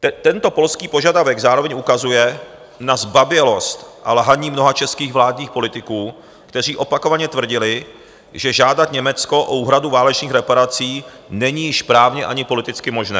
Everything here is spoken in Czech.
Tento polský požadavek zároveň ukazuje na zbabělost a lhaní mnoha českých vládních politiků, kteří opakovaně tvrdili, že žádat Německo o úhradu válečných reparací není již právně ani politicky možné.